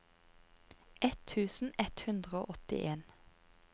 ett tusen ett hundre og åttien